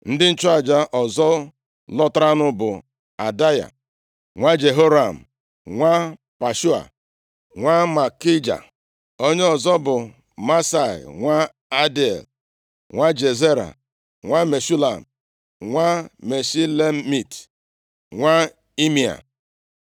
Ndị nchụaja ọzọ lọtaranụ bụ Adaya nwa Jeroham, nwa Pashua, nwa Malkija. Onye ọzọ bụ Maasai nwa Adiel, nwa Jazera, nwa Meshulam nwa Meshilemit, nwa Imea